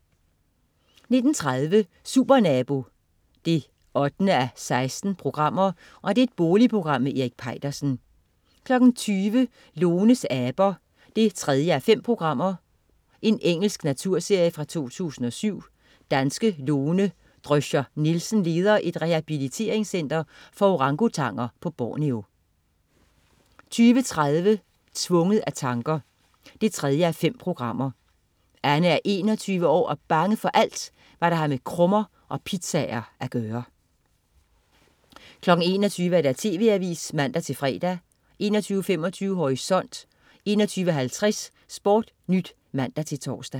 19.30 Supernabo 8:16. Boligprogram med Erik Peitersen 20.00 Lones aber 3:5. Engelsk naturserie fra 2007. Danske Lone Drøscher Nielsen leder et rehabiliteringscenter for orangutanger på Borneo 20.30 Tvunget af tanker 3:5. Anne er 21 år og bange for alt, hvad der har med krummer og pizzaer at gøre 21.00 TV Avisen (man-fre) 21.25 Horisont 21.50 SportNyt (man-tors)